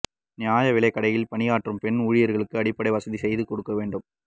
நியாய விலைக்கடையில் பணியாற்றும் பெண் ஊழியா்களுக்கு அடிப்படை வசதி செய்து கொடுக்க வேண்டும்